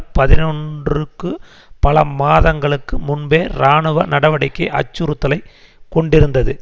பதினொன்றுக்கு பல மாதங்களுக்கு முன்பே இராணுவ நடவடிக்கை அச்சுறுத்தலை கொண்டிருந்தது